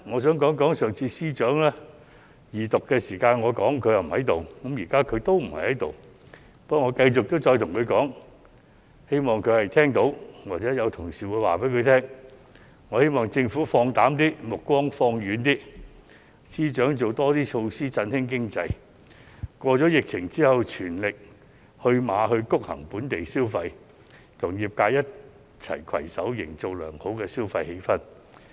上次司長在我二讀發言時不在席，現在他同樣不在席，不過，我要繼續向他說，希望他聽到，或者有同事向他轉告，我希望政府放膽一點，把目光放遠一點，司長多推出措施振興經濟，在疫情過後，全力催谷本地消費，與業界攜手營造良好的消費氣氛。